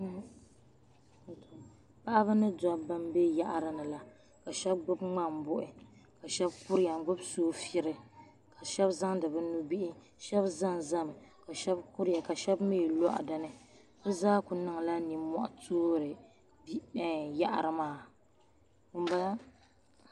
Paɣaba mini dabba m be yaɣarini la ka sheba gbibi ŋmambuhi ka sheba kuriya n gbibi soofiri ka sheba zaŋdi bɛ nubihi sheba zanzami ka sheba kuriya ka sheba mee lohi dinni bɛ zaa kuli niŋla ninmohi toori yaɣari maa.